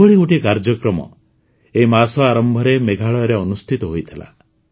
ଏଭଳି ଗୋଟିଏ କାର୍ଯ୍ୟକ୍ରମ ଏହି ମାସ ଆରମ୍ଭରେ ମେଘାଳୟରେ ଅନୁଷ୍ଠିତ ହୋଇଥିଲା